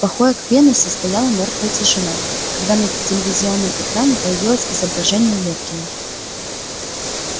в покоях венуса стояла мёртвая тишина когда на телевизионном экране появилось изображение лефкина